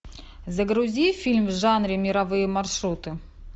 загрузи фильм в жанре мировые маршруты